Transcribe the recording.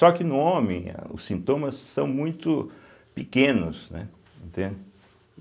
Só que no homem os sintomas são muito pequenos, né, entende.